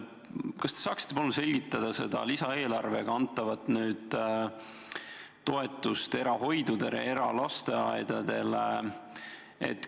Kas te saaksite palun selgitada seda lisaeelarvega antavat toetust eralastehoidudele ja eralasteaedadele?